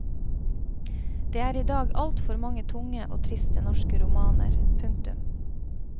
Det er i dag altfor mange tunge og triste norske romaner. punktum